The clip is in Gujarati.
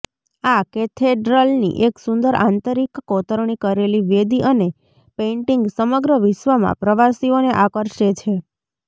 આ કેથેડ્રલની એક સુંદર આંતરિક કોતરણી કરેલી વેદી અને પેઇન્ટિંગ સમગ્ર વિશ્વમાં પ્રવાસીઓને આકર્ષે છે